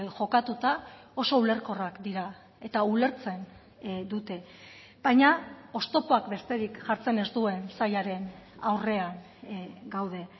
jokatuta oso ulerkorrak dira eta ulertzen dute baina oztopoak besterik jartzen ez duen sailaren aurrean gaude